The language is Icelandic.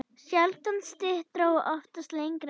Sjaldan styttra og oftast lengra.